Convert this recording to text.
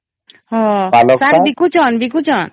ହଁ ଶାଗ ବିକୁଚନ ?